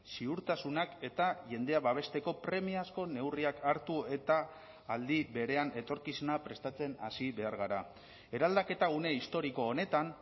ziurtasunak eta jendea babesteko premiazko neurriak hartu eta aldi berean etorkizuna prestatzen hasi behar gara eraldaketa une historiko honetan